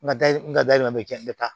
N ka n ka da yɛlɛma n bɛ ca n bɛ taa